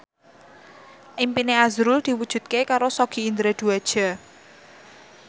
impine azrul diwujudke karo Sogi Indra Duaja